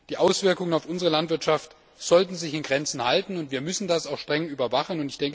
Die Auswirkungen auf unsere Landwirtschaft sollten sich in Grenzen halten, und wir müssen das auch streng überwachen.